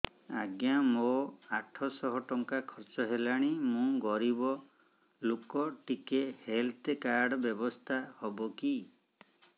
ଆଜ୍ଞା ମୋ ଆଠ ସହ ଟଙ୍କା ଖର୍ଚ୍ଚ ହେଲାଣି ମୁଁ ଗରିବ ଲୁକ ଟିକେ ହେଲ୍ଥ କାର୍ଡ ବ୍ୟବସ୍ଥା ହବ କି